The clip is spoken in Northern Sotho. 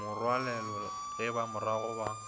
morwalole ge ba moroga ba